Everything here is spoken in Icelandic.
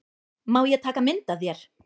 Má ég taka mynd af þér?